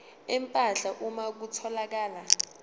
empahla uma kutholakala